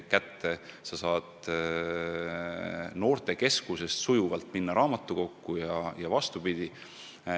Või siis saad noortekeskusest otse minna raamatukokku või vastupidi.